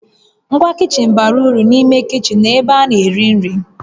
Ngwa kichin bara uru n'ime kichin na n'ebe a na-eri nri